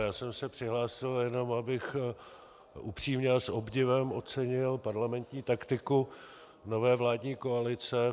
Já jsem se přihlásil jenom, abych upřímně a s obdivem ocenil parlamentní taktiku nové vládní koalice.